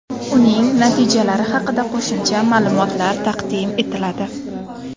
Uning natijalari haqida qo‘shimcha ma’lumotlar taqdim etiladi.